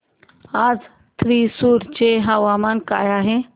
आज थ्रिसुर चे हवामान काय आहे